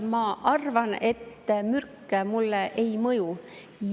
Ma arvan, et mürk mulle ei mõju.